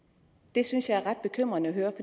det synes jeg er ret bekymrende at høre